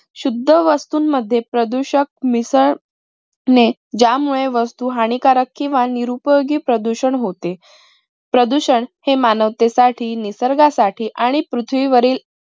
शुद्ध वस्तूंमध्ये प्रदूषक मिसळणे ज्यामुळे वस्तू हानिकारक किंव्हा निरुपयोगी प्रदूषण होते. प्रदूषण हे मानवतेसाठी निसर्गासाठी आणि पृथ्वीवरील